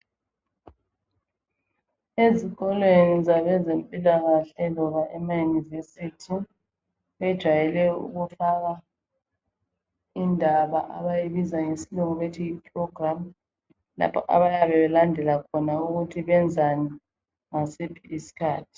Ezikolweni zabezempilakahle loba ema University bejwayele ukufakwa indaba abayibiza ngesilungu bethi yi program lapho abayabe belandela khona ukuthi benzani ngasiphi isikhathi.